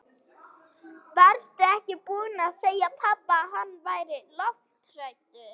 Varstu ekki búin að segja pabba að hann væri lofthræddur?